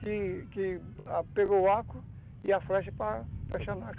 Que que pegou o arco e a flecha para flechar